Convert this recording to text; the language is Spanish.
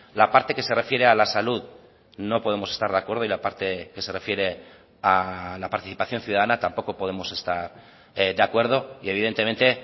la parte que se refiere a la salud no podemos estar de acuerdo y la parte que se refiere a la participación ciudadana tampoco podemos estar de acuerdo y evidentemente